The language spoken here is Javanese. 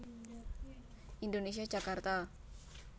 Indonesia Jakarta